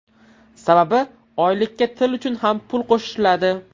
Sababi oylikka til uchun ham pul qo‘shiladi.